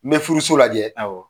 N bɛ furuso lajɛ, awɔ.